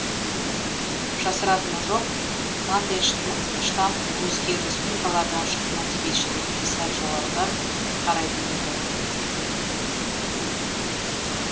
жасыратыны жоқ мандельштам өзге республикалардан шыққан әдебиетшілерге сәл жоғарыдан қарайтын еді